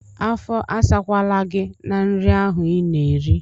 Afọ asakwala gị na nri ahụ ị na-eri!